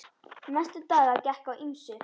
Næstu daga gekk á ýmsu.